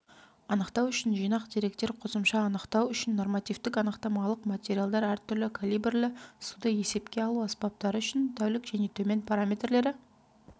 анықтау үшін жинақ деректер қосымша анықтау үшін нормативтік-анықтамалық материалдар әртүрлі калибрлі суды есепке алу аспаптары үшін тәулік және төмен параметрлері